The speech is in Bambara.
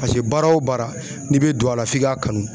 Paseke baara o baara n'i bɛ don a la f'i ka kanu.